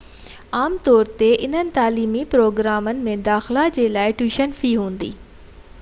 عام طور تي انهن تعليمي پروگرامن ۾ داخلا جي لاءِ ٽيوشن في هوندي